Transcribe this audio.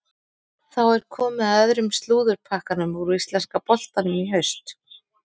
Þá er komið að öðrum slúðurpakkanum úr íslenska boltanum í haust.